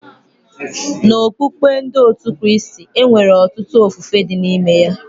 N'okukpe ndị otú Kristi, e nwere ọtụtụ ofufe dị n'ime ya